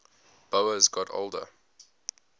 boas got older